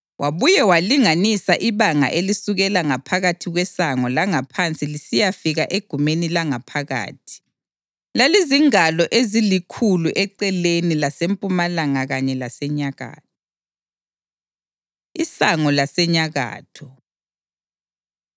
Wabuye walinganisa ibanga elisukela ngaphakathi kwesango langaphansi lisiyafika egumeni langaphakathi; lalizingalo ezilikhulu eceleni lasempumalanga kanye lasenyakatho. Isango Lasenyakatho